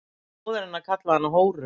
Móðir hennar kallaði hana hóru